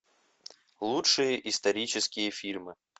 лучшие исторические фильмы